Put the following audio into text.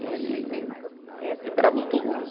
E era muito ruim.